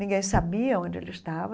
Ninguém sabia onde ele estava.